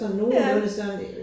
Ja